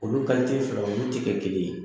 Olu fila olu tɛ kɛ kelen ye